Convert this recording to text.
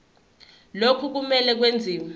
lokhu kumele kwenziwe